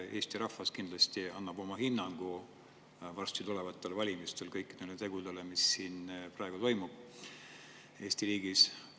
Eesti rahvas kindlasti annab varsti tulevatel valimistel oma hinnangu kõikidele tegudele, mis praegu Eesti riigis.